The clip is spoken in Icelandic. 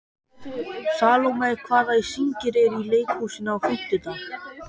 Salome, hvaða sýningar eru í leikhúsinu á fimmtudaginn?